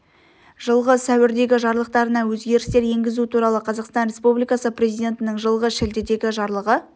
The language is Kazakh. жылғы сәуірдегі жарлықтарына өзгерістер енгізу туралы қазақстан республикасы президентінің жылғы шілдедегі жарлығы